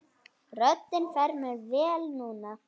Röddin fer mér vel núna.